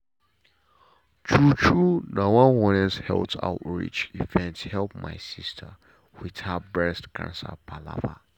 true true na one honestly health outreach event help my sister with her breast cancer palava.